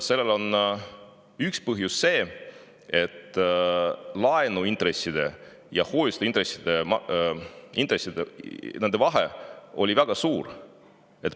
Selle üks põhjus on see, et laenuintresside ja hoiuseintresside vahe oli väga suur.